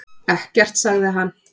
Ekkert, sagði hann.